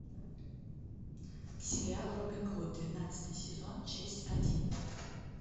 сериал робин гуд двенадцатый сезон часть один